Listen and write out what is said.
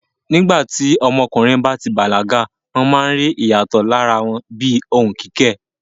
Nígbà tí ọmọkùnrin bá ti bàlágà, wọ́n máa ń rí àwọn ìyàtọ̀ ní ara wọn bíi ohùn kíkẹ̀.